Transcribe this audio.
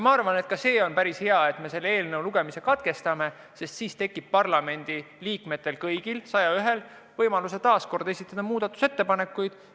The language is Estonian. Ma arvan, et ka see on päris hea, et me selle eelnõu lugemise katkestame, sest siis tekib kõigil 101 parlamendiliikmel võimalus veel muudatusettepanekuid esitada.